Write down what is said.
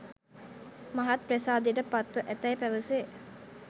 මහත් ප්‍රසාදයට පත්ව ඇතැයි පැවසේ.